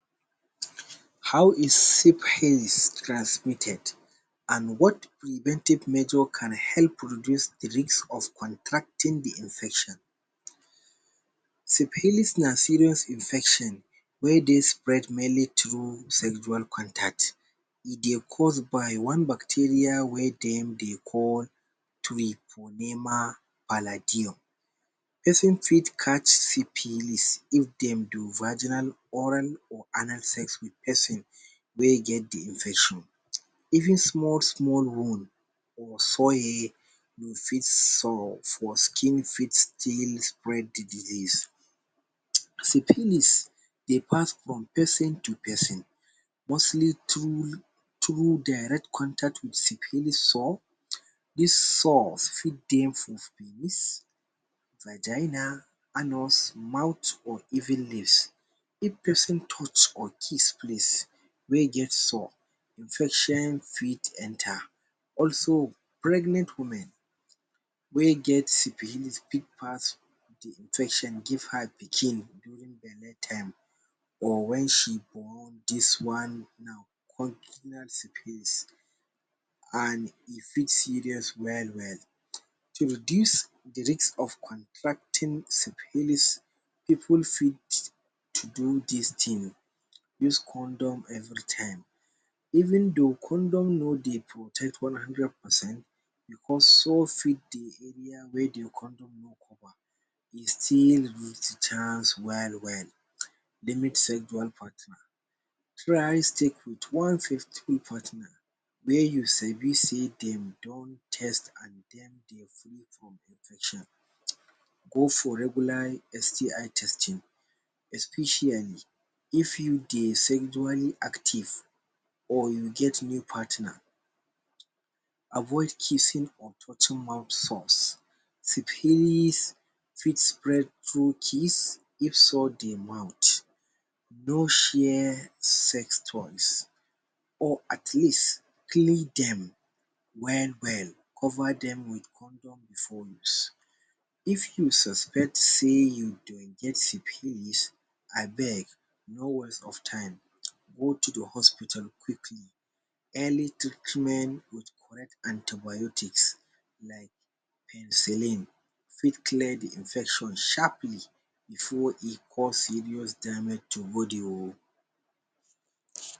How is syphilis transmitted and what preventive measure can help to reduce the risk of contracting the infection? Syphilis na serious infection wey dey spread mainly through sexual contact. E dey cause by one bacteria wey dem dey call person fit catch syphilis if dem do vaginal, oral or anal sex with person wey get the Infection. Even small-small wound for u fit solve for skin fit spread the disease. Syphilis dey pass from person to person mostly through, through direct contact with syphilis soar. This soar fit dey for Vigina, anus, mouth or even lips. If person touch or kiss place wey get soar, infection fit enter, also pregnant woman wey get syphilis big pass the infection give her pikin during bele time or when she born this one now And e fit serious well-well. To reduce the risk of contracting syphilis pipul fit to do this thing: Use condom every time, even though condom no dey protect one hundred percent, also fit the area wey the condom e still reach the chance well-well um. Limit sexual partner: try stay with one faithful partner wey you sabi sey dem don test and dem dey free from infection um. Go for regular STI testing, especially if you dey sexually active or you get new partner[um]. Avoid kissing or touching mouth soars: syphilis fit spread through kiss if soar dey mouth. No share sex toys or at least clean dem well-well, cover dem with condom before use. If you suspect sey you dey get syphilis, abeg no waste of time, go to the hospital quickly. Early treatment with correct anti-biotics like penicillin fit clear the infection sharply before e cos serious damage to body o